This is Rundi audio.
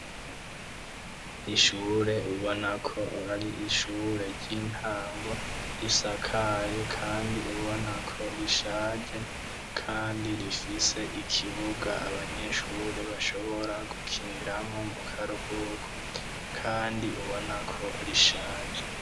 Ishure ubonako ari ishure ry'intango risakaye kandi ubonako rishaje kandi rifise ikibuga abanyeshure bashobora gukiniramwo mu karuhuko kandi ubonako rishaje.